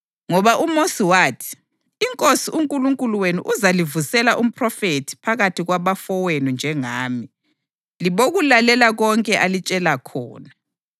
Ngoba uMosi wathi, ‘INkosi uNkulunkulu wenu uzalivusela umphrofethi phakathi kwabafowenu njengami; libokulalela konke alitshela khona.